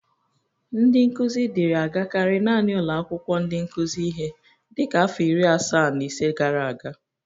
Ndị nkụzi dịri agakarị nanị ụlọ akwụkwó ndị nkụzị ihe dịka afọ iri asaa na ise gara aga.